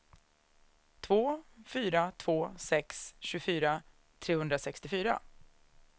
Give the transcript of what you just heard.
två fyra två sex tjugofyra trehundrasextiofyra